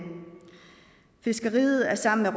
fiskeriet er sammen